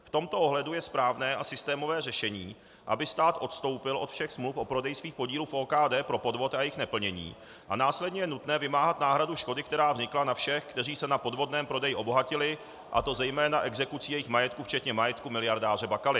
V tomto ohledu je správné a systémové řešení, aby stát odstoupil od všech smluv o prodeji svých podílů v OKD pro podvod a jejich neplnění, a následně je nutné vymáhat náhradu škody, která vznikla, na všech, kteří se na podvodném prodeji obohatili, a to zejména exekucí jejich majetku včetně majetku miliardáře Bakaly.